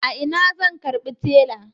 A ina zan karbi tela?